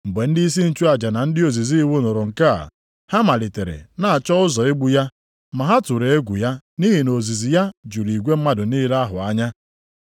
Mgbe ndịisi nchụaja na ndị ozizi iwu nụrụ nke a, ha malitere na-achọ ụzọ igbu ya ma ha tụrụ egwu ya nʼihi na ozizi ya juru igwe mmadụ niile ahụ anya.